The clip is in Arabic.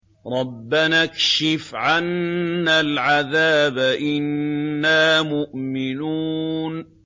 رَّبَّنَا اكْشِفْ عَنَّا الْعَذَابَ إِنَّا مُؤْمِنُونَ